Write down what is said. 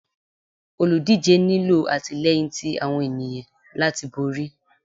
olúdijé nilọ atilẹyín tí awọn eniyan latí borí